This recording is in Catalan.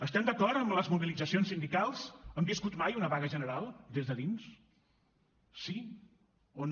estem d’acord amb les mobilitzacions sindicals han viscut mai una vaga general des de dins sí o no